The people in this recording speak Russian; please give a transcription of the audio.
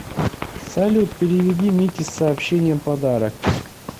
салют переведи мите с сообщением подарок